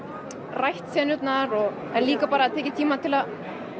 rætt senurnar og líka bara tekið tíma til að